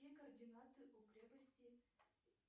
какие координаты у крепости